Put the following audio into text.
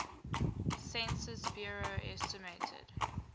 census bureau estimated